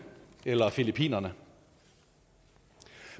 eller filippinerne